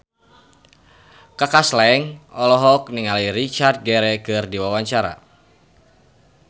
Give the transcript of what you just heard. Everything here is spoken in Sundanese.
Kaka Slank olohok ningali Richard Gere keur diwawancara